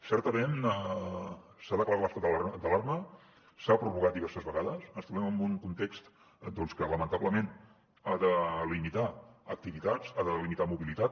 certament s’ha declarat l’estat d’alarma s’ha prorrogat diverses vegades ens trobem en un context que lamentablement ha de limitar activitats ha limitar mobilitat